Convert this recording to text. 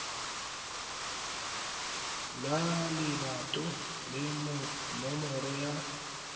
la lebato le nomoro ya